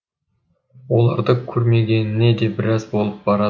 оларды көрмегеніне де біраз болып барады